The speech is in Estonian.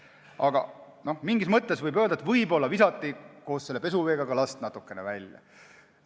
Aga mingis mõttes võib öelda, et võib-olla visati koos pesuveega ka laps välja.